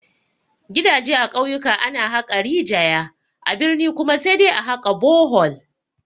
Gidaje a ƙauyaku ana haƙa rijaya, a birni kuma sai dai a haƙa bohol